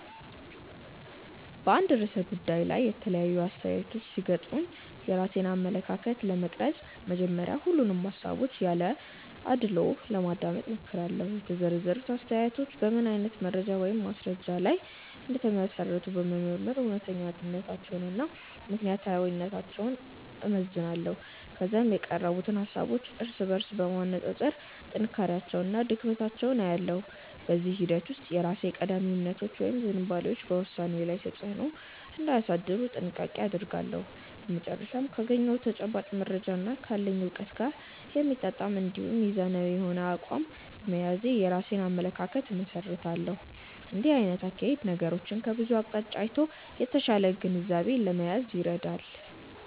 በአንድ ርዕሰ ጉዳይ ላይ የተለያዩ አስተያየቶች ሲገጥሙኝ የራሴን አመለካከት ለመቅረጽ መጀመሪያ ሁሉንም ሃሳቦች ያለ አድልዎ ለማዳመጥ እሞክራለሁ። የተሰነዘሩት አስተያየቶች በምን አይነት መረጃ ወይም ማስረጃ ላይ እንደተመሰረቱ በመመርመር እውነተኛነታቸውንና ምክንያታዊነታቸውን እመዝናለሁ። ከዚያም የቀረቡትን ሃሳቦች እርስ በርስ በማነጻጸር ጥንካሬያቸውንና ድክመታቸውን እለያለሁ። በዚህ ሂደት ውስጥ የራሴ ቀዳሚ እምነቶች ወይም ዝንባሌዎች በውሳኔዬ ላይ ተጽዕኖ እንዳያሳድሩ ጥንቃቄ አደርጋለሁ። በመጨረሻም ካገኘሁት ተጨባጭ መረጃና ካለኝ እውቀት ጋር የሚጣጣም እንዲሁም ሚዛናዊ የሆነ አቋም በመያዝ የራሴን አመለካከት እመሰርታለሁ። እንዲህ አይነቱ አካሄድ ነገሮችን ከብዙ አቅጣጫ አይቶ የተሻለ ግንዛቤ ለመያዝ ይረዳል።